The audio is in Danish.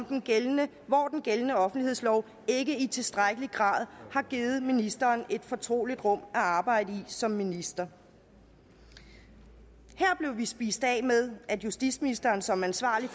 den gældende gældende offentlighedslov ikke i tilstrækkelig grad har givet ministeren et fortroligt rum at arbejde i som minister her blev vi spist af med at justitsministeren som ansvarlig